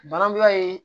Barabula ye